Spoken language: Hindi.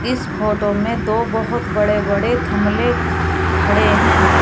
इस फोटो में दो बहोत बड़े बड़े थमले खड़े हैं।